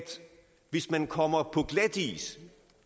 hvis man kommer på glatis